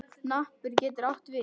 Hnappur getur átt við